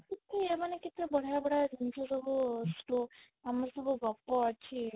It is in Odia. କେତେ ମାନେ କେତେ ବଢିଆ ବଢିଆ ଜିନିଷ ସବୁ ଆମର ସବୁ ଗପ ଅଛି